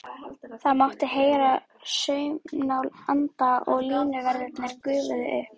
Það mátti heyra saumnál anda og línuverðirnir gufuðu upp.